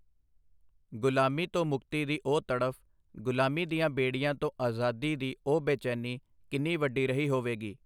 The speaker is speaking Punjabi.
ਗ਼ੁਲਾਮੀ ਤੋਂ ਮੁਕਤੀ ਦੀ ਉਹ ਤੜਫ, ਗ਼ੁਲਾਮੀ ਦੀਆਂ ਬੇੜੀਆਂ ਤੋਂ ਆਜ਼ਾਦੀ ਦੀ ਉਹ ਬੇਚੈਨੀ ਕਿੰਨੀ ਵੱਡੀ ਰਹੀ ਹੋਵੇਗੀ।